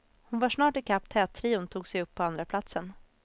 Hon var snart ikapp tättrion och tog sig upp på andraplatsen.